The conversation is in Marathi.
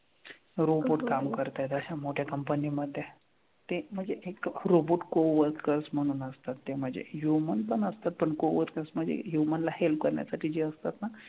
Robot काम करतायत अश्या मोठ्या company मधे. ते म्हणजे एक robot coworker म्हणून असतात ते म्हणजे human पण असतात. पण human म्हणजे human ला help करण्यासाठी जे असतात ना,